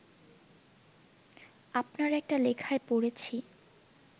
আপনার একটা লেখায় পড়েছি